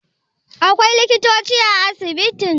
akwai likitoci a asibitin?